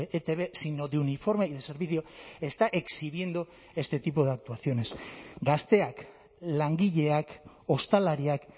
etb sino de uniforme y de servicio está exhibiendo este tipo de actuaciones gazteak langileak ostalariak